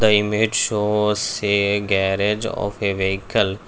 the image show us a garage of an vehicle.